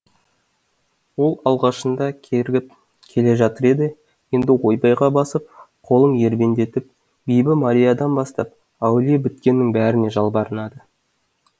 ол алғашында кергіп келе жатыр еді енді ойбайға басып қолын ербеңдетіп бибі мариядан бастап әулие біткеннің бәріне жалбарынды